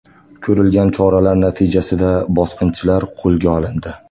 Ko‘rilgan choralar natijasida bosqinchilar qo‘lga olindi.